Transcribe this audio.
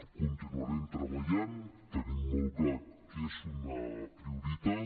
hi continuarem treballant tenim molt clar que és una prioritat